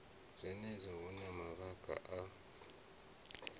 zwenezwo hu na mavhaka a